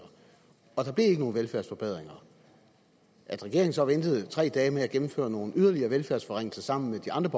og at der ikke blev nogen velfærdsforbedringer at regeringen ventede tre dage med at gennemføre nogle yderligere velfærdsforringelser sammen med de andre